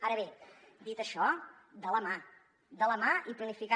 ara bé dit això de la mà de la mà i planificant